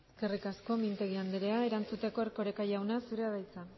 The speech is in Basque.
eskerrik asko mintegi anderea erantzuteko erkoreka jauna zurea da hitza